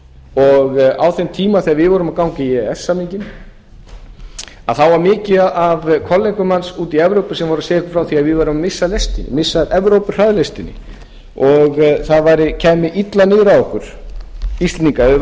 og á þeim tíma þegar við vorum að ganga í e e s samninginn þá var mikið af kollegum manns úti í evrópu sem voru að segja okkur frá því að við værum að missa af lestinni missa af evrópuhraðlestinni og það kæmi illa niður á okkur íslendingum ef við